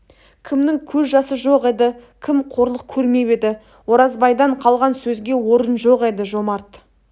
кімнің көз жасы жоқ еді кім қорлық көрмеп еді оразбайдан қалған сөзге орын жоқ еді жомарт